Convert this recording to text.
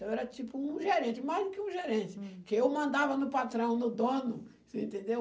Então era tipo um gerente, mais do que um gerente, que eu mandava no patrão, no dono, você entendeu?